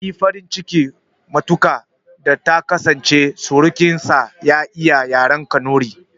Yayi farin ciki matuƙa da ta kasance surukin sa ya iya yaren kanuri